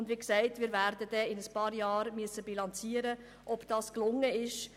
In einigen Jahren werden wir bilanzieren müssen, ob sie erreicht worden sind.